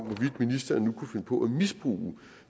ministeren nu kunne finde på at misbruge